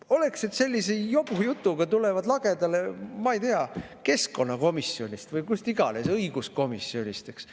No oleks siis, et sellise jobujutuga tullakse lagedale, ma ei tea, keskkonnakomisjonist või kust iganes, õiguskomisjonist näiteks.